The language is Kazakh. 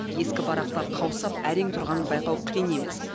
ескі барақтар қаусап әрең тұрғанын байқау қиын емес